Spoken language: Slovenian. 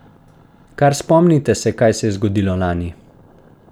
Kar spomnite se, kaj se je zgodilo lani!